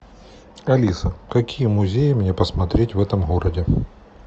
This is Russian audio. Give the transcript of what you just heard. алиса какие музеи мне посмотреть в этом городе